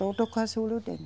Todo casulo tem.